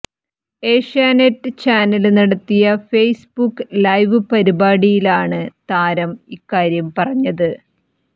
Asianet channel നടത്തിയ Facebook live പരിപാടിയിലാണ് താരം ഇക്കാര്യം പറഞ്ഞത്